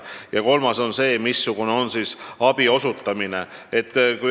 Ja kolmas plokk on abi osutamine.